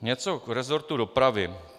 Něco k resortu dopravy.